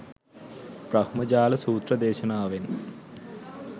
බ්‍රහ්මජාල සූත්‍ර දේශනාවෙන්,